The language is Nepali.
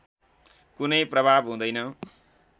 कुनै प्रभाव हुँदैन